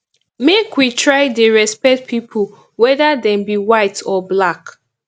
make we try dey respect pipu whether dem be white or black